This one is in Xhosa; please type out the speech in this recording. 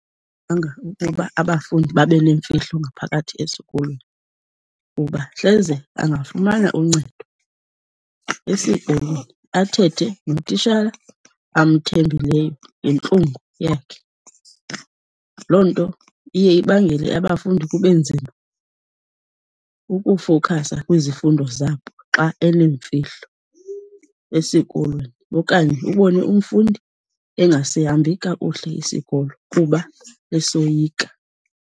abafundi babe neemfihlo ngaphakathi esikolweni kuba hleze angafumana uncedo esikolweni, athethe notitshala amthembileyo ngentlungu yakhe. Loo nto iye ibangele abafundi kube nzima ukufowukhasa kwizifundo zabo xa eneemfihlo esikolweni. Okanye ubone umfundi engasihambi kakuhle isikolo kuba esoyika.